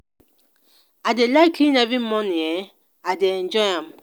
i dey like clean every morning um i dey enjoy am.